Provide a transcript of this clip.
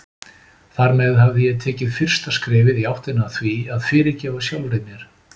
Þar með hafði ég tekið fyrsta skrefið í áttina að því að fyrirgefa sjálfri mér.